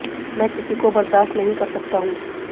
मैं किसी को बर्दाश्त नहीं कर सकता हूं